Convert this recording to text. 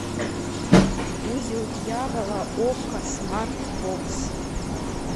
узел дьявола окко смарт бокс